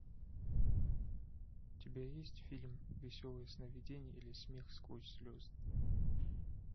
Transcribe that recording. у тебя есть фильм веселые сновидения или смех сквозь слезы